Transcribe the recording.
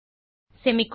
semicolon